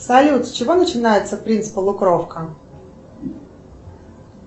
салют с чего начинается принц полукровка